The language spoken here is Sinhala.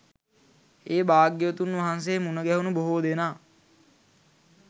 ඒ භාග්‍යවතුන් වහන්සේ මුණගැහුණු බොහෝ දෙනා